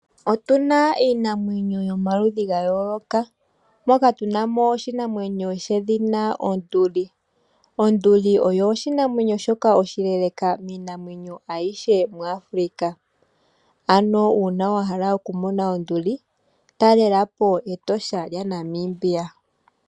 Otuna iinamwenyo yomaludhi gayooloka, moka tunamo oshinamwenyo shedhina Onduli, Onduli oyo oshinamwenyo shoka oshileeleka miinamwenyo ayihe mu Africa, ano wahala okumona Onduli talelapo Etosha lya Namibia.